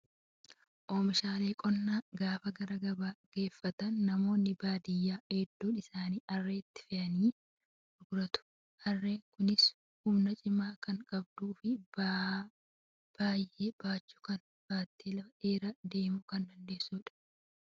Oomishaalee qonnaa gaafa gara gabaa geeffatan namoonni baadiyyaa hedduun isaanii harreetti fe'atanii gurguratu. Harreen kunis humna cimaa kan qabduu fi ba'aa baay'ee baachuu kan baattee lafa dheeraa deemuu kan dandeessudha.